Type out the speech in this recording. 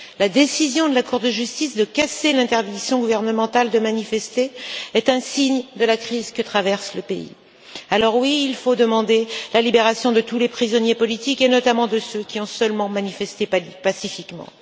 La décision de la Cour de justice de casser l'interdiction gouvernementale de manifester est un signe de la crise que traverse le pays. Oui, il faut demander la libération de tous les prisonniers politiques et notamment de ceux qui ont seulement manifesté pacifiquement.